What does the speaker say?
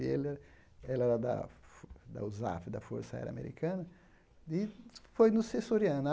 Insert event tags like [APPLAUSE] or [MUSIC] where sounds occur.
E ele era da USAF, da Força Aérea Americana, e foi [UNINTELLIGIBLE]